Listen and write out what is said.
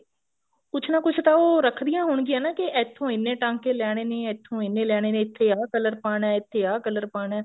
ਕੁੱਛ ਨਾ ਕੁੱਛ ਤਾਂ ਉਹ ਰੱਖਦੀਆਂ ਹੋਣਗੀਆਂ ਨਾ ਕੇ ਇੱਥੋਂ ਇੰਨੇ ਟਾਂਕੇ ਲੈਨੇ ਨੇ ਇੱਥੋਂ ਇੰਨੇ ਲੈਨੇ ਨੇ ਇੱਥੋਂ ਇੰਨੇ ਲੈਨੇ ਨੇ ਇੱਥੇ ਆਹ color ਪਾਣਾ ਇੱਥੇ ਆਹ ਪਾਣਾ